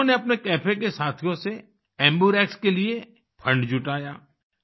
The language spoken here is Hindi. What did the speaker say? उन्होंने अपने कैफे के साथियों से एम्बर्क्स के लिए फंड जुटाया